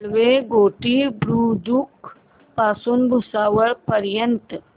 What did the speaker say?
railway Ghoti Budruk पासून भुसावळ पर्यंत